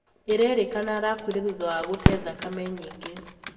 Irairikana arakuire thutha wa gutee thakame nyinge